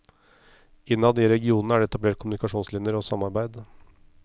Innad i regionene er det etablerte kommunikasjonslinjer og samarbeid.